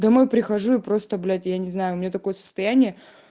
домой прихожу и просто блять я не знаю у меня такое состояние